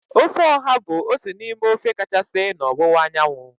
Ofe oha bụ otu n'ime ofe kachasị na ọwụwa anyanwụ.